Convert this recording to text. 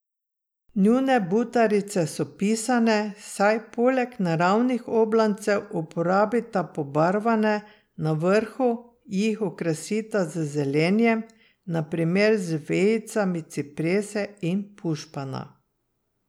Njune butarice so pisane, saj poleg naravnih oblancev uporabita pobarvane, na vrhu jih okrasita z zelenjem, na primer z vejicami ciprese in pušpana.